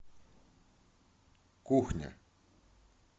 кухня